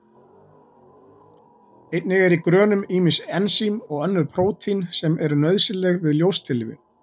Einnig eru í grönum ýmis ensím og önnur prótín sem eru nauðsynleg við ljóstillífun.